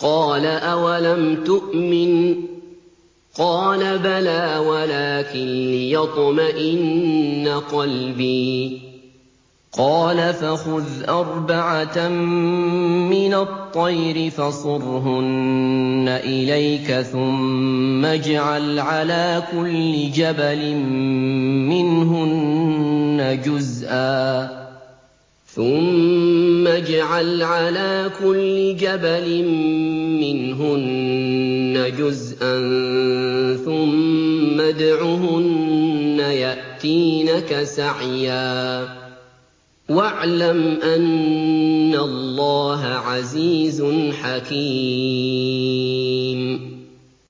قَالَ أَوَلَمْ تُؤْمِن ۖ قَالَ بَلَىٰ وَلَٰكِن لِّيَطْمَئِنَّ قَلْبِي ۖ قَالَ فَخُذْ أَرْبَعَةً مِّنَ الطَّيْرِ فَصُرْهُنَّ إِلَيْكَ ثُمَّ اجْعَلْ عَلَىٰ كُلِّ جَبَلٍ مِّنْهُنَّ جُزْءًا ثُمَّ ادْعُهُنَّ يَأْتِينَكَ سَعْيًا ۚ وَاعْلَمْ أَنَّ اللَّهَ عَزِيزٌ حَكِيمٌ